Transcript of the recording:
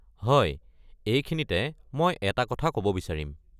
হয়, এইখিনিতে মই এটা কথা ক'ব বিচাৰিম।